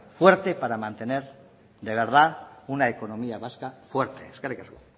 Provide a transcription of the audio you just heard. fuerte para mantener de verdad una economía vasca fuerte eskerrik asko